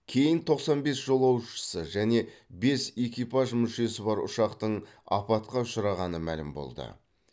кейін тоқсан бес жолаушысы және бес экипаж мүшесі бар ұшақтың апатқа ұшырағаны мәлім болды